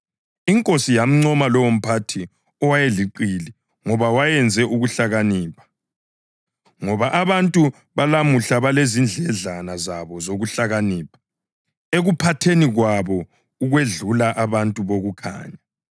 Inkosi yamncoma lowomphathi owayeliqili ngoba wayenze ukuhlakanipha. Ngoba abantu balumhlaba balezindledlana zabo zokuhlakanipha ekuphathaneni kwabo ukwedlula abantu bokukhanya.